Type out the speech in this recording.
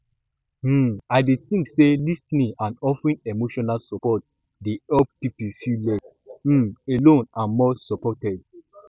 um i dey think say lis ten ing and offeering emotional support dey help people feel less um alone and more supported